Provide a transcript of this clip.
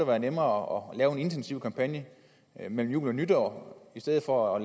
være nemmere at lave en intensiv kampagne mellem jul og nytår i stedet for at